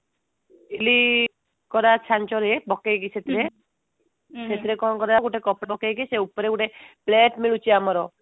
ଇଟିଲି କରା ଛାଞ୍ଚରେ ପକେଇକି ସେଥିରେ ସେଥିରେ କଣ କରାଯିବ ଗୋଟେ କପଡା ପକେଇକି ସେ ଉପରେ ଗୋଟେ plate ମିଳୁଛି ଆମର